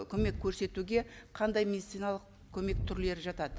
көмек көрсетуге қандай медициналық көмек түрлері жатады